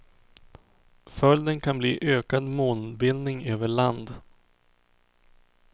Följden kan bli ökad molnbildning över land.